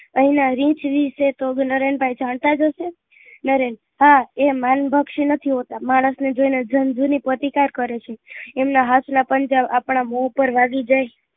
અહી નાં રીંછ ની નરેન ભાઈ જાણતા જ હશે નરેન હા એ ભાન ભક્ષી નથી હોતા માણસ ને જોઈ ને જન જૂની પ્રતિકાર કરે છે એમના હાથ નાં પંજા ઓ આપડા મોં પર પડી જાય